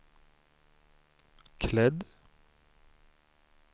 klädd